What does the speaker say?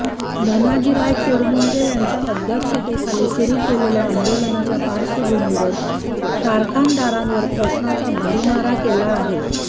धनाजीराव चुडमुंगे यांच्या अध्यक्षतेखाली सुरू केलेल्या आंदोलनाच्या पार्श्वभूमीवर कारखानदारांवर प्रश्नांचा भडिमार केला आहे